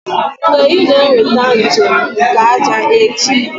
Mgbe ị na-eweta njem nke ájá echi?